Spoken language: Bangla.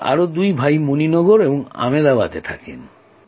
আমার আরও দুই ভাই মণি নগর এবং আমেদাবাদে থাকেন